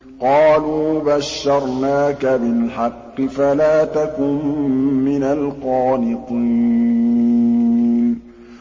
قَالُوا بَشَّرْنَاكَ بِالْحَقِّ فَلَا تَكُن مِّنَ الْقَانِطِينَ